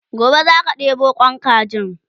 gobe zaka ɗebo Kwan kajin?